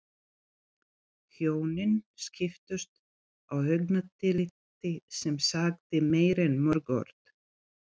Hjónin skiptust á augnatilliti sem sagði meira en mörg orð.